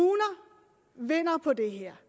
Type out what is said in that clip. vinder på det her